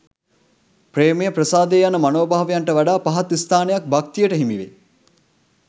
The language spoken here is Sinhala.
ප්‍රේමය, ප්‍රසාදය යන මනෝභාවයන්ට වඩා පහත් ස්ථානයක් භක්තියට හිමිවෙයි.